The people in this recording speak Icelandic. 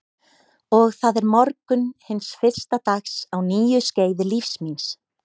Og það er morgunn hins fyrsta dags á nýju skeiði lífs míns.